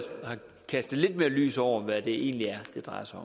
har kastet lidt mere lys over hvad det egentlig er det drejer sig